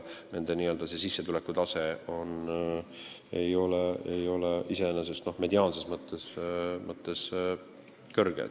Nende sissetulekutase ei ole iseenesest mediaanses mõttes kõrge.